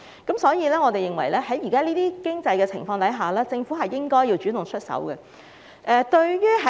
因此，我們認為在現時的經濟情況下，政府亦應該主動出手。